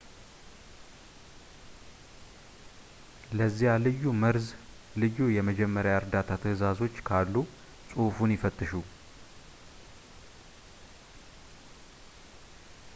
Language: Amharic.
ለዚያ ልዩ መርዝ ልዩ የመጀመሪያ ዕርዳታ ትዕዛዞች ካሉ ፅሑፉን ይፈትሹ